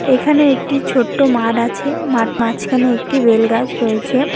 এখানে একটি ছোট্ট মাড আছে মাট মাঝখানে একটি বেলগাছ রয়েছে।